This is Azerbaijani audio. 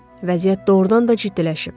Vəziyyət doğrudan da ciddiləşib.